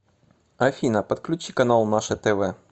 афина подключи канал наше тв